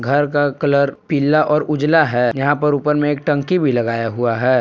घर का कलर पीला और उजला है यहां पर ऊपर में एक टंकी भी लगाया हुआ है।